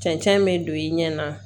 Cɛncɛn me don i ɲɛ na